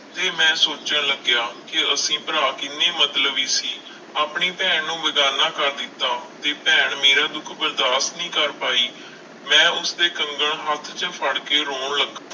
ਤੇ ਮੈਂ ਸੋਚਣ ਲੱਗਿਆ ਕਿ ਅਸੀਂ ਭਰਾ ਕਿੰਨੇ ਮਤਲਬੀ ਸੀ ਆਪਣੀ ਭੈਣ ਨੂੰ ਬੇਗ਼ਾਨਾ ਕਰ ਦਿੱਤਾ ਤੇ ਭੈਣ ਮੇਰਾ ਦੁੱਖ ਬਰਦਾਸ਼ਤ ਨਹੀਂ ਪਾਈ, ਮੈਂ ਉਸਦੇ ਕੰਗਣ ਹੱਥ 'ਚ ਫੜ ਕੇ ਰੋਣ ਲੱਗ~